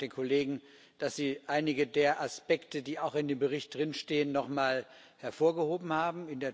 Und vielen Dank den Kollegen, dass sie einige der Aspekte, die auch in dem Bericht stehen, noch einmal hervorgehoben haben.